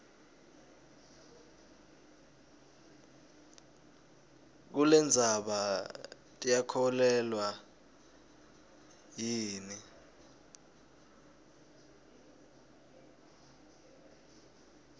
kulendzaba tiyakholweka yini